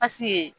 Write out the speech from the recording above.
Pasike